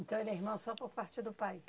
Então ele é irmão só por parte do pai?